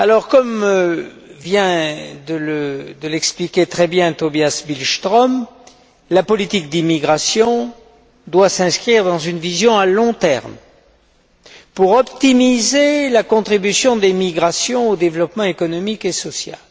Comme vient très justement de l'expliquer Tobias Billström, la politique d'immigration doit s'inscrire dans une vision à long terme pour optimiser la contribution des migrations au développement économique et social.